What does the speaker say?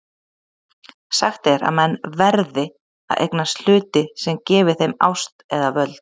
Sagt er að menn VERÐI að eignast hluti sem gefi þeim ást eða völd.